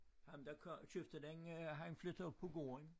Ham der kom købte den han flyttede op på gården